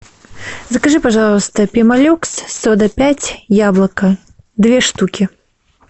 закажи пожалуйста пемолюкс сода пять яблоко две штуки